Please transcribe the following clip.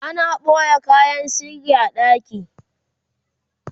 ana ɓoye kayan sirri a ɗaki